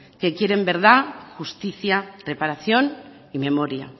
que quieren verdad justicia reparación y memoria